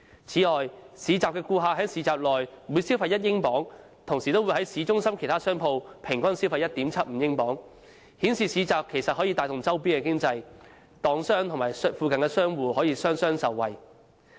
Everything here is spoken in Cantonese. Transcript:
此外，市集的顧客在市集內每消費1英鎊，同時亦會在市中心其他商鋪消費平均 1.75 英鎊，顯示市集其實可以帶動周邊的經濟，檔販和附近的商戶也可以雙雙受惠。